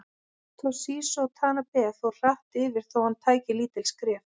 Toshizo Tanabe fór hratt yfir þó hann tæki lítil skref.